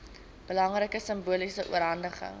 belangrike simboliese oorhandiging